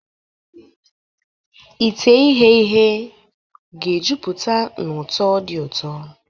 Ite ihee ihe ga-ejupụta na ụtọ dị ụtọ.